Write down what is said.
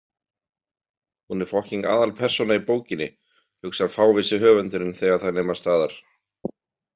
Hún er fokkíng aðalpersóna í bókinni, hugsar fávísi höfundurinn þegar þær nema staðar.